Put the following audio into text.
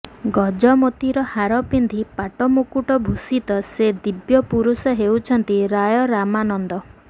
ଗଜମୋତିର ହାର ପିନ୍ଧି ପାଟମୁକୁଟଭୂଷିତ ସେ ଦିବ୍ୟପୁରୁଷ ହେଉଛନ୍ତି ରାୟ ରାମାନନ୍ଦ